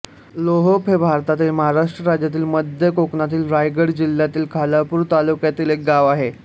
लोहोप हे भारतातील महाराष्ट्र राज्यातील मध्य कोकणातील रायगड जिल्ह्यातील खालापूर तालुक्यातील एक गाव आहे